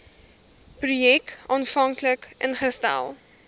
projek aanvanklik ingestel